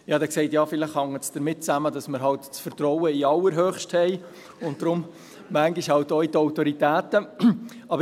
» Ich sagte darauf: «Ja, vielleicht hängt es damit zusammen, dass wir eben das Vertrauen in den Allerhöchsten haben und daher manchmal auch in die Autoritäten.»